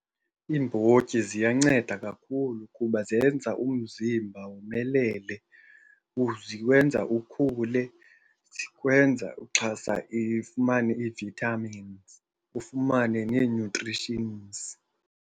Iimbotyi ziyanceda kakhulu kuba zenza umzimba womelele, ziwenza ukhule, zikwenza uxhasa ifumane ii-vitamins, ufumane nee-nutritions.